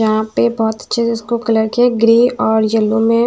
यहां पे बहुत अच्छे से इसको कलर किया ग्रे और येलो में--